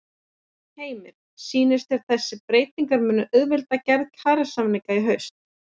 Heimir: Sýnist þér að þessar breytingar munu auðvelda gerð kjarasamninga í haust?